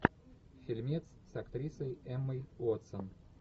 фильмец с актрисой эммой уотсон